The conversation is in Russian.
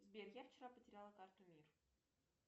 сбер я вчера потеряла карту мир